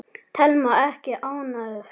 Telma: Ekki ánægðar?